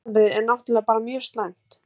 Ástandið er náttúrlega bara mjög slæmt